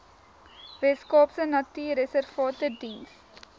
weskaapse natuurreservate diens